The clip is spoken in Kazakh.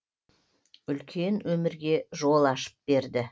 үлкен өмірге жол ашып берді